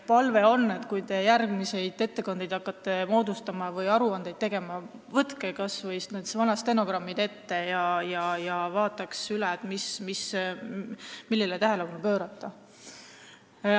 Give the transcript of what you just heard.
Palve ongi, et kui te hakkate järgmisi ettekandeid kirjutama või aruandeid tegema, võtke kas või vanad stenogrammid ette ja vaadake üle, millele võiks tähelepanu pöörata.